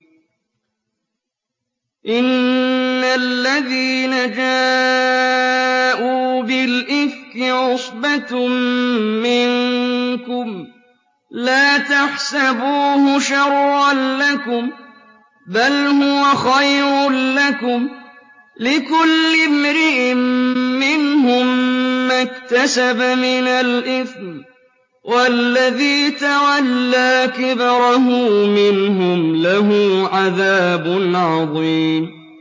إِنَّ الَّذِينَ جَاءُوا بِالْإِفْكِ عُصْبَةٌ مِّنكُمْ ۚ لَا تَحْسَبُوهُ شَرًّا لَّكُم ۖ بَلْ هُوَ خَيْرٌ لَّكُمْ ۚ لِكُلِّ امْرِئٍ مِّنْهُم مَّا اكْتَسَبَ مِنَ الْإِثْمِ ۚ وَالَّذِي تَوَلَّىٰ كِبْرَهُ مِنْهُمْ لَهُ عَذَابٌ عَظِيمٌ